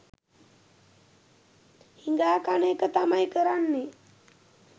හිඟා කන එක තමයි කරන්නෙ